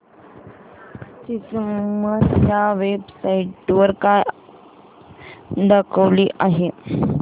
ची किंमत या वेब साइट वर काय दाखवली आहे